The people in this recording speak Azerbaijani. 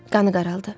Qanı qaraldı.